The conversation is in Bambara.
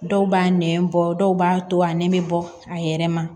Dɔw b'a nɛn bɔ dɔw b'a to a nɛn bɛ bɔ a yɛrɛ ma